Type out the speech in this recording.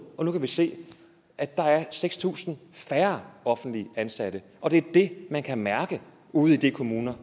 men nu kan vi se at der er seks tusind færre offentligt ansatte og det er det man kan mærke ude i de kommuner